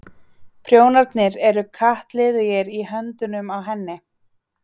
Prjónarnir eru kattliðugir í höndunum á henni.